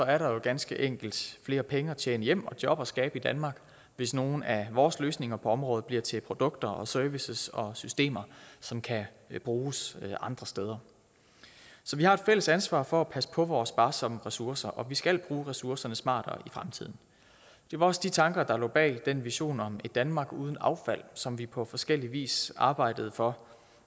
er der jo ganske enkelt flere penge at tjene hjem og job at skabe i danmark hvis nogle af vores løsninger på området bliver til produkter og services og systemer som kan bruges andre steder så vi har et fælles ansvar for at passe på vores sparsomme ressourcer og vi skal bruge ressourcerne smartere i fremtiden det var også de tanker der lå bag den vision om et danmark uden affald som vi på forskellig vis arbejdede for